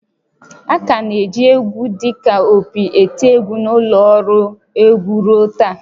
A ka na-eji égwú dị ka opi eti égwú na ụlọ ọrụ egwu ruo taa